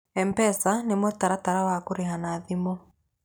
Mpesa nĩ mũtaratara wa kũrĩha na thimũ.